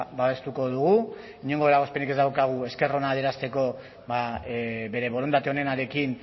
babestuko dugu inongo eragozpenik ez daukagu gure esker ona adierazteko bere borondate onenarekin